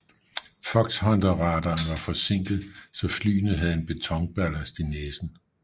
Foxhunterradaren var forsinket så flyene havde en betonballast i næsen